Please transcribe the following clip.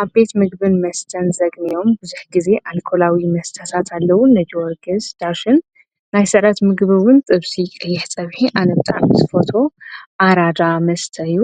ኣብ ቤት ምግብን መስተን ዘግሚዎም ብዙኅ ጊዜ ኣልቆላዊ መስታሳት ኣለዉን ነዲወጌዝ ዳሽን ናይ ሠደት ምግብውን ጥብሢ ቀየሕ ጸብሒ ኣነብጣ ምስ ፎቶ ኣራጃ መስተዩ